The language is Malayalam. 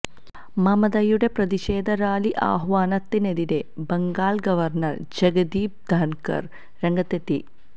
മമതയുടെ പ്രതിഷേധ റാലി ആഹ്വാനത്തിനെതിരെ ബംഗാള് ഗവര്ണര് ജഗദീപ് ധന്കര് രംഗത്തെത്തി